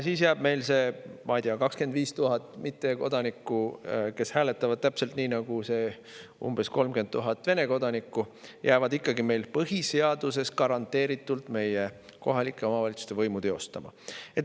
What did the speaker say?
Siis jäävad meil, ma ei tea, 25 000 mittekodanikku, kes hääletavad täpselt nii, nagu need umbes 30 000 Vene kodanikku, ikkagi põhiseaduses garanteeritud meie kohalikes omavalitsustes võimu teostama.